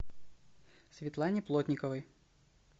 светлане плотниковой